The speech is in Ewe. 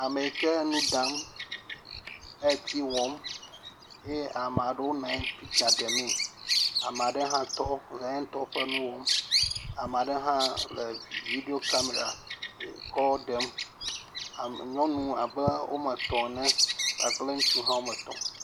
Ame yike nu ɖam. Eti wɔm eye ame aɖewo le pikture ɖe mee. Ame aɖe hã tɔ le yentɔ ƒe nu wɔm. Ame aɖe hã le video kamera kɔ ɖem. ame nyɔnu abe woame etɔ ene, ŋutsu hã woame etɔ.